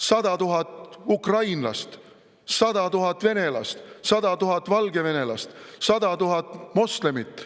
100 000 ukrainlast, 100 000 venelast, 100 000 valgevenelast, 100 000 moslemit.